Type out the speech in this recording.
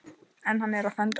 En hann er að föndra.